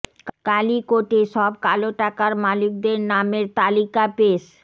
কালই কোর্টে সব কালো টাকার মালিকদের নামের তালিকা পেশ